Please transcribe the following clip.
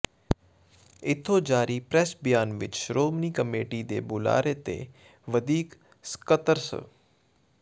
ਇਥੋਂ ਜਾਰੀ ਪੈ੍ਰੱਸ ਬਿਆਨ ਵਿੱਚ ਸ਼ੋ੍ਰਮਣੀ ਕਮੇਟੀ ਦੇ ਬੁਲਾਰੇ ਤੇ ਵਧੀਕ ਸਕੱਤਰ ਸ